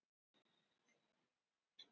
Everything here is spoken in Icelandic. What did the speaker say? Þó hún sé sexí.